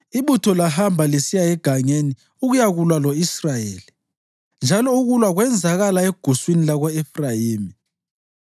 Ibutho lahamba lisiya egangeni ukuyakulwa lo-Israyeli, njalo ukulwa kwenzakala eguswini lako-Efrayimi.